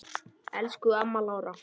Elsku amma Lára.